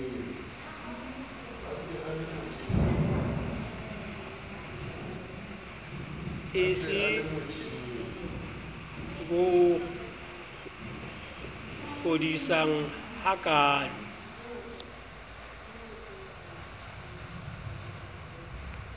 e se bo kgodisang hakaalo